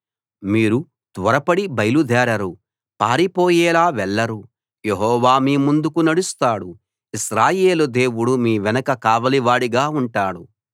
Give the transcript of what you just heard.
మీరు త్వరపడి బయలుదేరరు పారిపోయేలా వెళ్లరు యెహోవా మీ ముందు నడుస్తాడు ఇశ్రాయేలు దేవుడు మీ వెనుక కావలివాడుగా ఉంటాడు